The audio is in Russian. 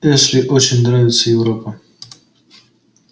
эшли очень нравится европа